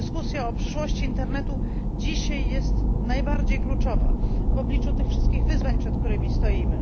Dyskusja o przyszłości internetu dzisiaj jest najbardziej kluczowa w obliczu tych wszystkich wyzwań, przed którymi stoimy.